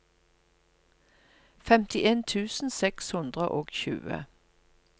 femtien tusen seks hundre og tjue